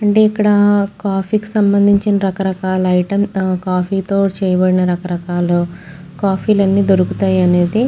అంటే ఇక్కడ కాఫీ కి సంబంధించిన రకరకాల ఐటెం కాఫీ తో చేయబడిన రకాలు కాఫీ లు అన్నీ దొరుకుతాయి అనేది --